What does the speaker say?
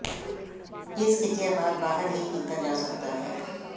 ਇਸ ਖਿੱਚਿਆ ਬਾਅਦ ਬਾਹਰ ਹੀ ਕੀਤਾ ਜਾ ਸਕਦਾ ਹੈ